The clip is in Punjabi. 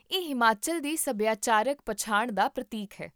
ਇਹ ਹਿਮਾਚਲ ਦੀ ਸਭਿਆਚਾਰਕ ਪਛਾਣ ਦਾ ਪ੍ਰਤੀਕ ਹੈ